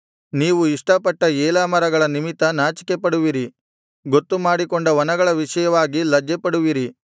ನೀವು ಇಷ್ಟಪಟ್ಟ ಏಲಾ ಮರಗಳ ನಿಮಿತ್ತ ನಾಚಿಕೆಪಡುವಿರಿ ಗೊತ್ತು ಮಾಡಿಕೊಂಡ ವನಗಳ ವಿಷಯವಾಗಿ ಲಜ್ಜೆಪಡುವಿರಿ